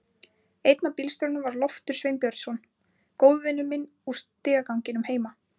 Einn af bílstjórunum var Loftur Sveinbjörnsson, góðvinur minn úr stigaganginum heima.